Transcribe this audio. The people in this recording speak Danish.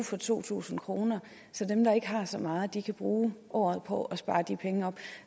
for to tusind kr så dem der ikke har så meget kan bruge året på at spare de penge op